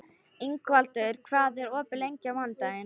Ingvaldur, hvað er opið lengi á mánudaginn?